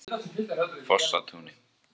Fossatúni